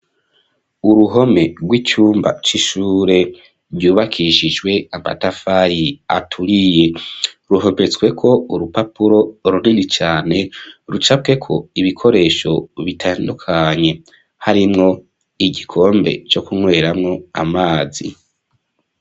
Uruhome rw'icumba c'ishure ryubakishijwe amatafari aturiye ruhometsweko urupapuro runini cane rucapweko ibikoresho bitandukanye harimwo igikombe co ku nyweramwo amazi.